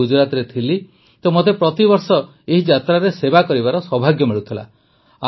ମୁଁ ଗୁଜରାଟରେ ଥିଲି ତ ମୋତେ ପ୍ରତିବର୍ଷ ଏହି ଯାତ୍ରାରେ ସେବା କରିବାର ସୌଭାଗ୍ୟ ମିଳୁଥିଲା